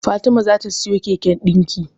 Fatima za ta siyo keken dinki.